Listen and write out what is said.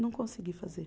Não consegui fazer.